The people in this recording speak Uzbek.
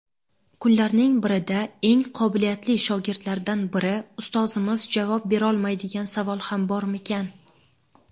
Kunlarning birida eng qobiliyatli shogirdlaridan biri: "Ustozimiz javob berolmaydigan savol ham bormikan?"